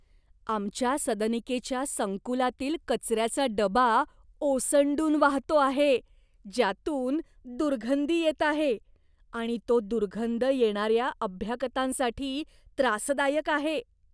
आमच्या सदनिकेच्या संकुलातील कचऱ्याचा डबा ओसंडून वाहतो आहे ज्यातून दुर्गंधी येत आहे, आणि तो दुर्गंध येणाऱ्या अभ्यागतांसाठी त्रासदायक आहे.